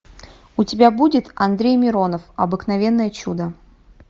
у тебя будет андрей миронов обыкновенное чудо